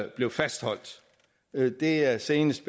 er blevet fastholdt det er senest